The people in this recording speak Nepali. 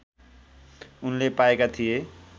उनले पाएका थिए